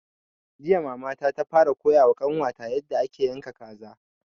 Jiya mama ta fara koya wa ƙanwa ta yarda ake yanka kaza